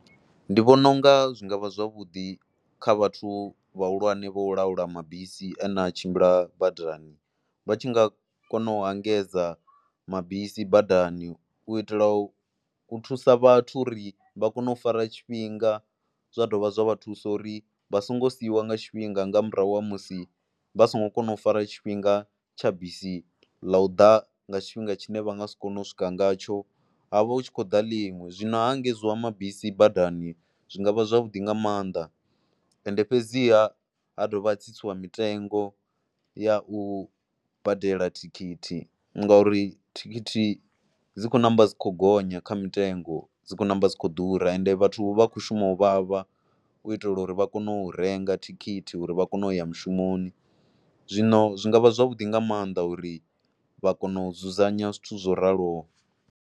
Ndi vhona u nga zwi nga vha zwavhuḓi kha vhathu vhahulwane vho laula mabisi ane a tshimbila badani vha tshi nga kona u a engedza mabisi badani u itela u thusa vhathu uri vha kone u fara tshifhinga. Zwa dovha zwa vha thusa uri vha songo siiwa nga tshifhinga nga murahu ha musi vha songo kona u fara tshifhinga tsha bisi ḽa u ḓa nga tshifhinga tshine vha nga si kone u swika ngatsho, ha vha hu tshi khou ḓa ḽiṅwe zwino ha engedziwa mabisi badani zwi nga vha zwavhuḓi nga maanḓa. Ende fhedziha ha dovha ha tsitsiwa mitengo ya u badela thikhithi ngauri thikhithi dzi khou ṋamba dzi khou gonya kha mitengo, dzi khou ṋamba dzi kho ḓura ende vhathu vha khou shuma u vhavha u itela uri vha kone u renga thikhithi u itela uri vha kone u ya mushumoni. Zwino zwi nga vha zwavhuḓi nga maanḓa uri vha kone u dzudzanya zwithu zwo raloho.